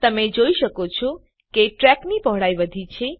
તમે જોઈ શકો છો કે ટ્રેકની પહોળાઈ વધી છે